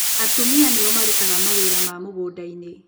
Atumia nĩ o marutaga mawĩra ma mũgũnda-inĩ